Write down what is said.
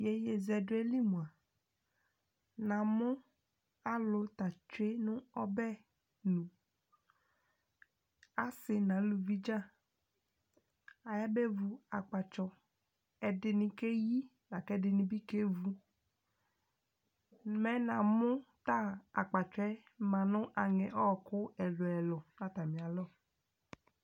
Yeyezɛdoe li moa, namo alu ta tsue no ɔbɛnu, ase no aluvi dza, ayabe vu akpatsɔ Ɛdene kɛɛ yi, la ko ɛdene be kɛɛ vu Mɛ namo ta akpatsɔɛ ma no angɛ ɔku ɛluɛlu no atane alɔ